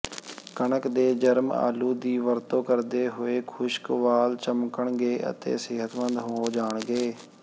ਕਣਕ ਦੇ ਜਰਮ ਆਲੂ ਦੀ ਵਰਤੋਂ ਕਰਦੇ ਹੋਏ ਖੁਸ਼ਕ ਵਾਲ ਚਮਕਣਗੇ ਅਤੇ ਸਿਹਤਮੰਦ ਹੋ ਜਾਣਗੇ